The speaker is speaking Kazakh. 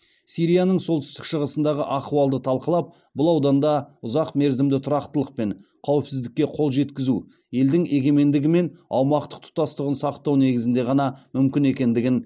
сирияның солтүстік шығысындағы ахуалды талқылап бұл ауданда ұзақмерзімді тұрақтылық пен қауіпсіздікке қол жеткізу елдің егемендігі мен аумақтық тұтастығын сақтау негізінде ғана мүмкін екендігін